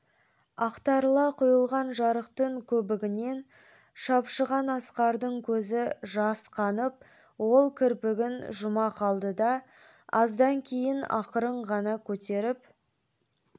ақтарыла құйылған жарықтың көбігінен шапшыған асқардың көзі жасқанып ол кірпігін жұма қалды да аздан кейін ақырын ғана көтеріп